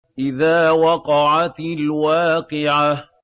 إِذَا وَقَعَتِ الْوَاقِعَةُ